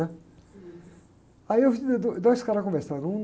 né? Aí eu vi do dois caras conversando. Um...